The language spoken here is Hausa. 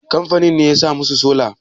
kamfanin ne ya sa musu sola?